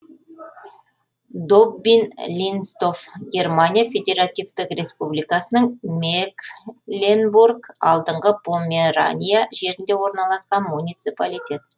доббин линстов германия федеративтік республикасының мекленбург алдыңғы померания жерінде орналасқан муниципалитет